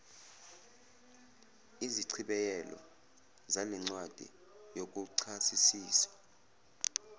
izichibiyelo zalencwadi yokuchasisisa